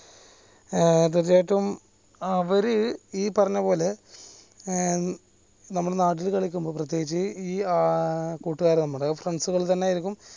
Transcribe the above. ഏർ തീർച്ചയായിട്ടും അവര് ഈ പറഞ്ഞപോലെ ഏർ നമ്മുടെ നാട്ടിൽ കളിക്കുമ്പോൾ പ്രേത്യേകിച് ഈ ഏർ കൂട്ടുകാർ നമ്മടെ friends തന്നെ ആയിരിക്കും